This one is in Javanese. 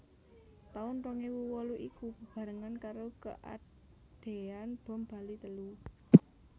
Taun rong ewu wolu iku bebarengan karo keadean bom Bali telu